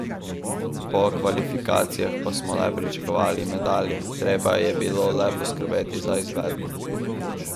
Po kvalifikacijah pa smo le pričakovali medalje, treba je bilo le poskrbeti za izvedbo.